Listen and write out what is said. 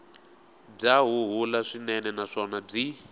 bya huhula swinene naswona byi